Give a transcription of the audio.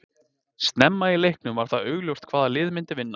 Snemma í leiknum var það augljóst hvaða lið myndi vinna.